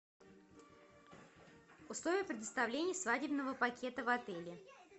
условия предоставления свадебного пакета в отеле